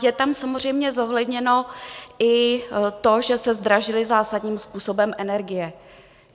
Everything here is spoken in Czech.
Je tam samozřejmě zohledněno i to, že se zdražily zásadním způsobem energie.